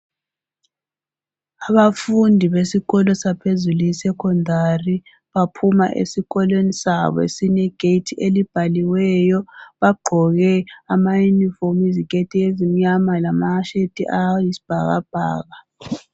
Abafundi besikolo saphezulu e secondary baphuma esikolweni sabo esilegethi elibhaliweyo bagqoke ama yunifomu iziketi ezimnyama lama sheti ayisibhakabhaka.